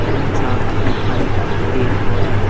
Mocha लिखाई दे रहा है।